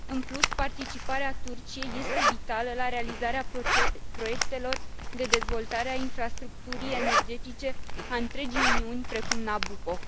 În plus, participarea Turciei este vitală la realizarea proiectelor de dezvoltare a infrastructurii energetice a întregii Uniuni, precum Nabucco.